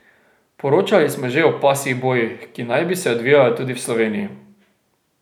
Poročali smo že o pasjih bojih, ki naj bi se odvijali tudi v Sloveniji.